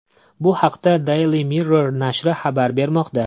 Bu haqda Daily Mirror nashri xabar bermoqda .